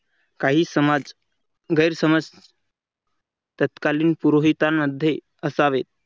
काही समाज गैरसमज तत्कालीन पुरावे पुरोहितांमध्ये असावे.